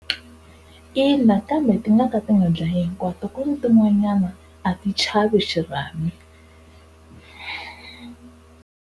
Ina kambe ti nga ka ti nga dlayi hinkwato ku ni tin'wanyana a ti chavi xirhami.